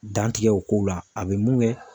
Dan tigɛ o kow la a be mun kɛ